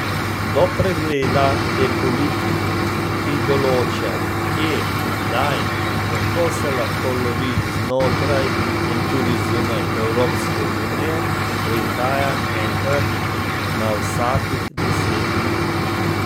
Do pregleda te politike, ki določa, kje, kdaj in kako se lahko lovi znotraj in tudi zunaj Evropske unije, prihaja enkrat na vsakih deset let.